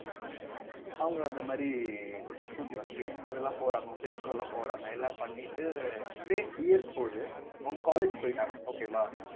அவங்க அந்த மாதிரி scooty வாங்கி அதெல்லாம் போறாங்க friends கூட எல்லாம் போறாங்க எல்லாம் பண்ணிட்டு இப்படியே years போகுது அவங்க college போயிட்டாங்க okay வா